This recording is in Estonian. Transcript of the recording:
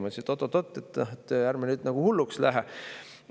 Ma ütlesin, et oot-oot-oot, ärme nüüd nagu hulluks lähe.